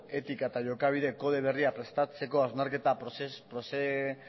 etika eta jokabide kode berria prestatzeko hausnarketa